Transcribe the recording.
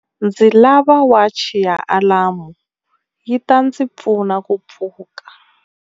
Ndzi lava wachi ya alamu yi ta ndzi pfuna ku pfuka.